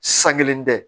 San kelen tɛ